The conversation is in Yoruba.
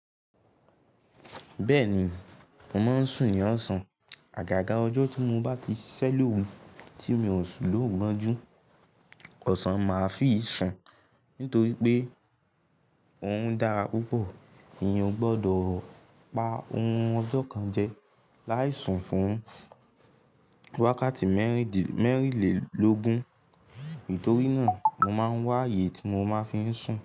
Bẹ́ẹ̀ni, mo máa ń sùn ní ọ̀sán. Àgàgà ọjọ́ tí mo bá ti ṣiṣẹ́ lóru tí mi ò ṣú lòún mọ́n jú, ọ̀sán máa fi sùn. Nítorí pé òrun dára púpọ̀, èèyàn ò gbọdọ̀ pa ohun ọjọ́ kan jẹ láì sùn fún ún wákàtí mẹ́rìnlélógún. Nítorí náà mo máa ń wá ààyè tí mo máa fi ń sùn.